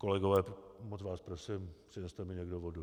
Kolegové, moc vás prosím, přineste mi někdo vodu.